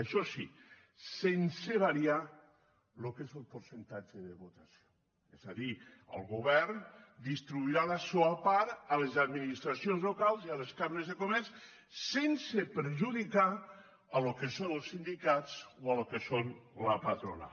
això sí sense variar el que és el percentatge de vots és a dir el govern distribuirà la seua part a les administracions locals i a les cambres de comerç sense perjudicar el que són els sindicats o el que és la patronal